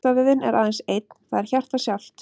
Hjartavöðvinn er aðeins einn, það er hjartað sjálft.